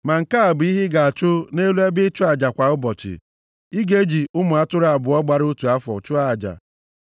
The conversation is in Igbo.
“Ma nke a bụ ihe ị ga-achụ nʼelu ebe ịchụ aja kwa ụbọchị, ị ga-eji ụmụ atụrụ abụọ gbara otu afọ chụọ aja.